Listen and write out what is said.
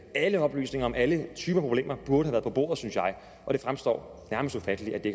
alle oplysninger om alle typer problemer burde have været på bordet synes jeg og det fremstår nærmest ufatteligt at de